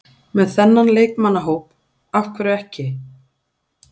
Með þennan leikmannahóp, af hverju ekki?